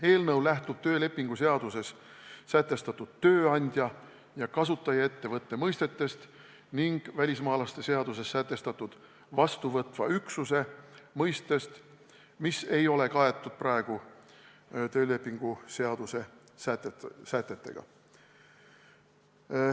Eelnõu lähtub töölepingu seaduses sätestatud tööandja ja kasutajaettevõtte mõistetest ning välismaalaste seaduses sätestatud vastuvõtva üksuse mõistest, mis praegu töölepingu seaduse sätetega kaetud ei ole.